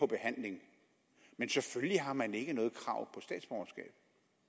behandling men selvfølgelig har man ikke noget krav på statsborgerskab statsborgerskab